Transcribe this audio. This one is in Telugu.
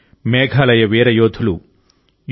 మేఘాలయ వీర యోధులు యు